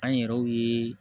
An yɛrɛw ye